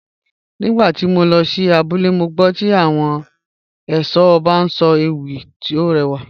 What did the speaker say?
Nígbà tí mo lọ sí abúlé, mo gbọ́ tí àwọn ẹ̀ṣọ́ ọba ń sọ ewì, ó rẹwà